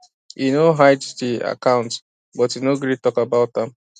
e no hide the accountbut e no gree talk about am